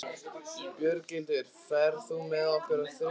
Björghildur, ferð þú með okkur á þriðjudaginn?